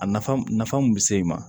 A nafa nafa mun be se i ma